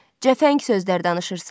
Cəfəng sözlər danışırsan.